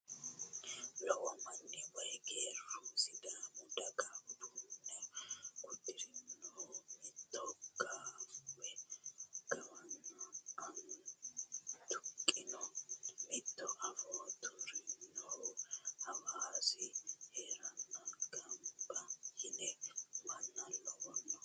Lowo manni woyi geerru sidaamu daga uddano uddirinohu mitu gaawe aana tuqqinohu mitu afoo tuirinohu hasaawu heerenna gamba yiino manna lawanno